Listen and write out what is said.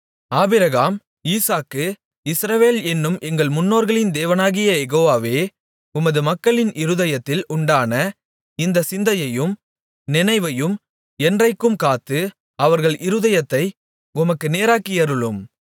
Abraham Isaac Israel என்னும் எங்கள் முன்னோர்களின் தேவனாகிய யெகோவாவே உமது மக்களின் இருதயத்தில் உண்டான இந்த சிந்தையையும் நினைவையும் என்றைக்கும் காத்து அவர்கள் இருதயத்தை உமக்கு நேராக்கியருளும்